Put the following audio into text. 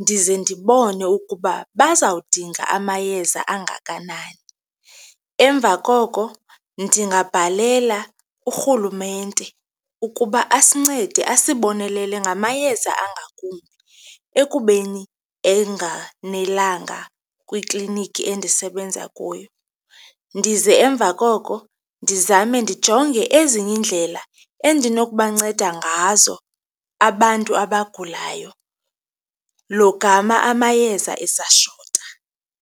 ndize ndibone ukuba bazawudinga amayeza angakanani. Emva koko ndingabhalela urhulumente ukuba asincede asibonelele ngamayeza angakumbi ekubeni enganelanga kwikliniki endisebenza kuyo. Ndize emva koko, ndizame ndijonge ezinye iindlela endinokubanceda ngazo abantu abagulayo logama amayeza esashota.